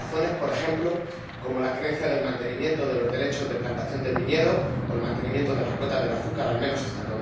Razones, por ejemplo, como la creencia en el mantenimiento de los derechos de plantación del viñedo o el mantenimiento de las cuotas del azúcar al menos hasta